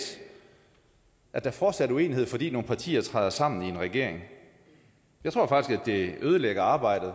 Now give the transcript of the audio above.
at der fortsat er uenighed fordi nogle partier træder sammen i en regering jeg tror faktisk at det ødelægger arbejdet